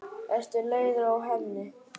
Ertu leiður á henni?